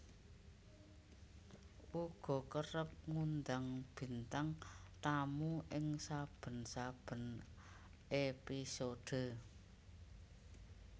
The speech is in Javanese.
uga kerep ngundang bintang tamu ing saben saben épisode